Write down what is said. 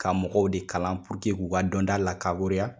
Ka mɔgɔw de kalan k'o ka dɔnta lakaboreya.